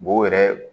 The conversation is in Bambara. Bo yɛrɛ